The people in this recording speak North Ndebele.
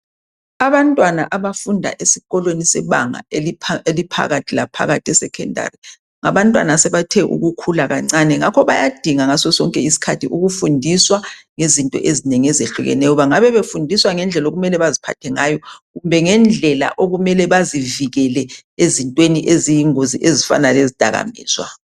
abantwana abafunda esikolweni esikubanga eliphakathi laphakathi e secondary abantwana asebethe ukukhula akancane ngakho bayadinga ngaso sonke isikhathi ukufundiswa ngezinto ezinengi ezehlukeneyo bangabe befundiswa ngendlela okumele baziphathe ngayo kumbe ngendlela okumele bazivikele ezintweni eziyingozi ezifana lezidaka mizwa